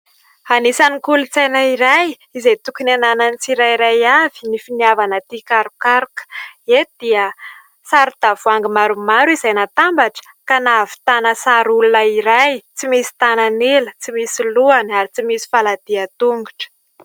Anisany kolotsaina iray izay tokony hananan'ny tsirairay avy ny finiavana tia karokaroka. Eto dia saron-tavoahangy maromaro izay natambatra ka nahavitana sary olona iray tsy misy tanan'ila, tsy misy lohany ary tsy misy faladia tongotra.